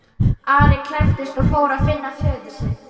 Ari klæddist og fór að finna föður sinn.